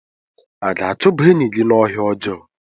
A ga-achụba enyi gị n'ọhịa ọjọọ?